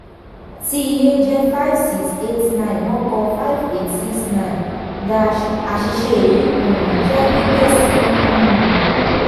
tí iye jẹ́ five six eight nine wọ́n kọ five eight six nine dash àṣìṣe yìí um jẹ́ gbígbési um